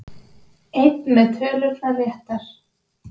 Einn með tölurnar réttar